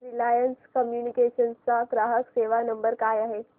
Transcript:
Reliance Communications चा ग्राहक सेवा नंबर काय आहे